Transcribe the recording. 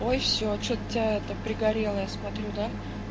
ой всё что-то тебя это пригорела я смотрю да